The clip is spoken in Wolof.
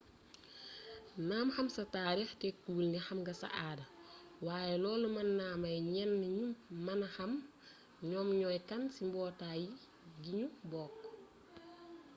naam xam sa taarix tekkiwul nix am nga sa aada waaye loolu mën na may ñenn ñi ñu mën a xam ñoom ñooy kan ci mbootaay gi ñu bokk